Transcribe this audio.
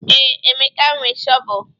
Ee. Emeka nwe shọvel